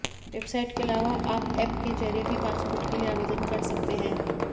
website के अलावा आप एप के जरिए भी पासपोर्ट के लिए आवेदन कर सकते है